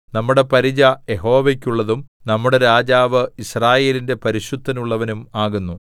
നമ്മുടെ പരിച യഹോവയ്ക്കുള്ളതും നമ്മുടെ രാജാവ് യിസ്രായേലിന്റെ പരിശുദ്ധനുള്ളവനും ആകുന്നു